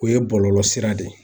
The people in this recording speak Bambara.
O ye bɔlɔlɔ sira de ye.